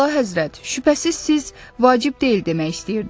Əlahəzrət, şübhəsiz siz vacib deyil demək istəyirdiniz.